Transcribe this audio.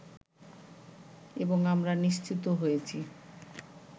এবং আমরা নিশ্চিত হয়েছি